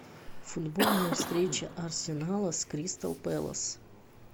футбольная встреча арсенала с кристал пэлас